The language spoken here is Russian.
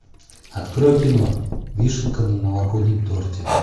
открой кино вишенка на новогоднем торте